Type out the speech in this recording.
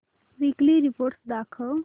weekly report दाखव